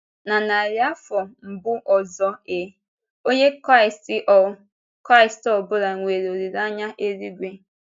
Na narị afọ mbụ Ọ́zọ A., Onye Kraịst ọ Kraịst ọ bụla nwere olileanya eluigwe.